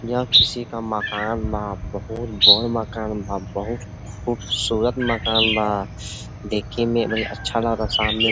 यह किसी का मकान बा बहोत बड़ मकान बा बहोत खूबसूरत मकान बा। देखे में भी अच्छा लागता। सामने --